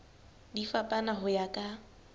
di fapana ho ya ka